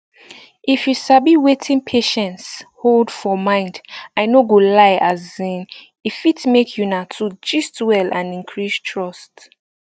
if you sabi wetin patients hold for mind i no go lie asin e fit make una two gist well and increase trust